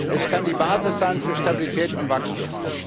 Es kann die Basis sein für Stabilität und Wachstum.